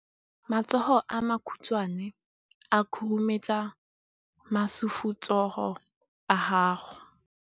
Matsogo a makhutshwane a khurumetsa masufutsogo a gago.